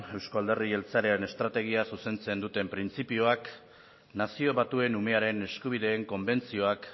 euzko alderdi jeltzalearen estrategia zuzentzen duten printzipioak nazio batuen umearen eskubideen konbentzioak